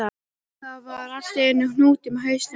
Það var allt í einum hnút í hausnum á mér.